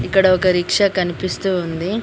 ఇక్కడ ఒక రిక్షా కనిపిస్తూ ఉంది.